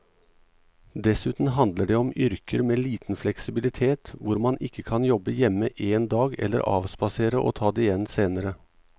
Dessuten handler det om yrker med liten fleksibilitet hvor man ikke kan jobbe hjemme en dag eller avspasere og ta det igjen senere.